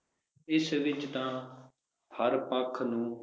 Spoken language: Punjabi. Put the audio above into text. ਇਸ ਵਿਚ ਤਾਂ ਹਰ ਪੱਖ ਨੂੰ